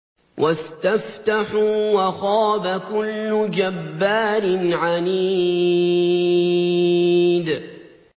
وَاسْتَفْتَحُوا وَخَابَ كُلُّ جَبَّارٍ عَنِيدٍ